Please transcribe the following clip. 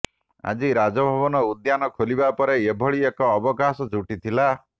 ଆଜି ରାଜଭବନ ଉଦ୍ୟାନ ଖୋଲିବା ପରେ ଏହିଭଳି ଏକ ଅବକାଶ ଜୁଟିଥିଲା